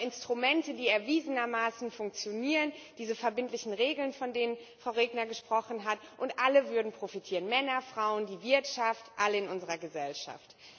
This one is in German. Wir haben Instrumente, die erwiesenermaßen funktionieren, diese verbindlichen Regeln, von denen Frau Regner gesprochen hat, und alle würden profitieren Männer, Frauen, die Wirtschaft alle in unserer Gesellschaft.